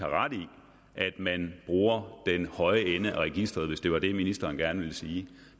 har ret i at man bruger den høje ende af registeret hvis det var det ministeren gerne ville sige